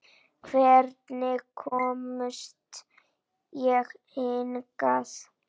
Hvernig komst ég hingað?